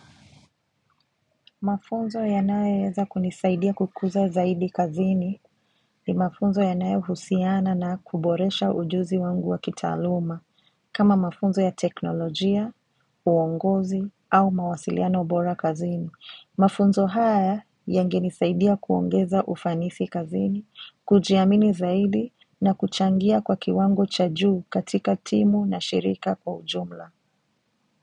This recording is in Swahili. Mafunzo yanayo weza kunisaidia kukuza zaidi kazini ni mafunzo yanayo husiana na kuboresha ujuzi wangu wa kitaaluma kama mafunzo ya teknolojia, uongozi au mawasiliana bora kazini. Mafunzo haya yange nisaidia kuongeza ufanisi kazini, kujiamini zaidi na kuchangia kwa kiwango cha juu katika timu na shirika kwa ujumla.